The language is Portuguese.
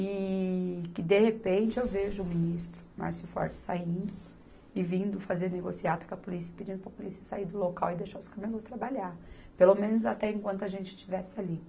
E que, de repente, eu vejo o ministro Márcio Forte saindo e vindo fazer negociata com a polícia, pedindo para a polícia sair do local e deixar os camelô trabalhar, pelo menos até enquanto a gente estivesse ali.